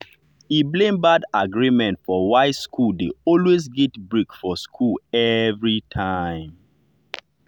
e blame bad agreements for why school dey always get break for school everytime.